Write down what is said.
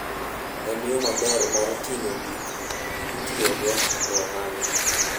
En yo maber mar ting'o gik mitiyogo e ohala.